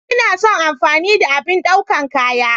Ina son amfani da abin daukan kaya.